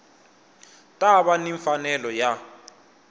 ta va ni mfanelo ya